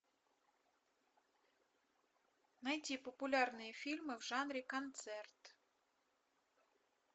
найти популярные фильмы в жанре концерт